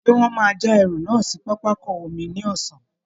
Ṣé wọ́n máa já ẹrù náà sí pápákọ omi ní ọ̀sán?